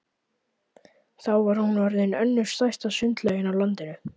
Þá var hún orðin önnur stærsta sundlaug á landinu.